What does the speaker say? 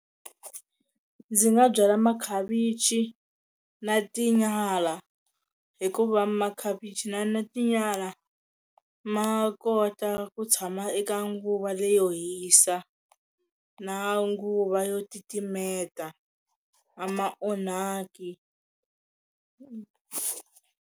Ndzi nga byala makhavichi na tinyala hikuva makhavichi na na tinyala ma kota ku tshama eka nguva leyo hisa na nguva yo titimeta a ma onhaki.